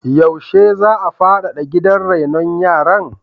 Yaushe za a faɗaɗa gidan rainon yara?